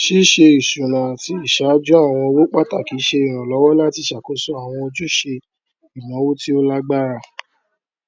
ṣíṣe isúnà àti ìṣàjú àwọn owó pàtàkì ṣe ìrànlọwọ láti ṣàkóso àwọn ojúṣe ìnáwó tí ó lágbára